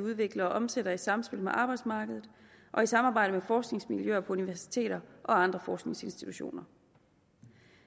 udviklet og omsat i samspil med arbejdsmarkedet og i samarbejde med forskningsmiljøer på universiteter og andre forskningsinstitutioner